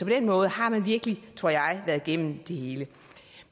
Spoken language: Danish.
den måde har man virkelig tror jeg været igennem det hele